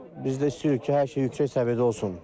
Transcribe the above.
Biz də istəyirik ki, hər şey yüksək səviyyədə olsun.